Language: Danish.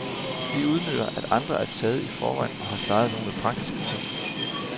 Vi udnytter, at andre er taget i forvejen og har klaret nogle praktiske ting.